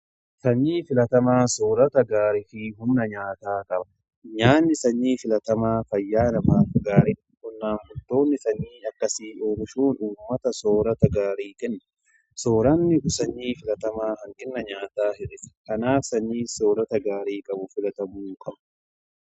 Sanyii filatamaan soorata gaarii fi humna nyaataa qaba. Nyaanni sanyii filatamaa fayyaa namaaf gaariiidha. Qonnaan bultoonni sanyii akkasii omishuun ummmataf soorata gaarii kenna. Soorranni sanyii filatamaa hanqina nyaataa hir'isa. Kanaaf sanyii filatamaan soorata gaarii qabu filatamuu qaba.